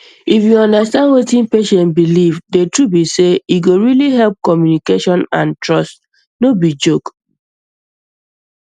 if you understand wetin patient believe the truth be sey e go really help communication and trust no be joke